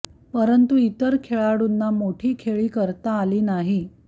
परंतू इतर खेळाडूंना मोठी खेळी करता आली नाही